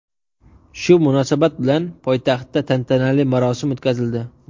Shu munosabat bilan poytaxtda tantanali marosim o‘tkazildi.